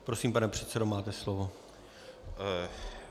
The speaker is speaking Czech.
Prosím, pane předsedo, máte slovo.